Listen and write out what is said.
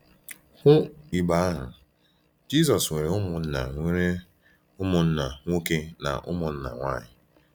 Hụ igbe ahụ “Jisọs nwere ụmụnna nwere ụmụnna nwoke na ụmụnna nwanyị?”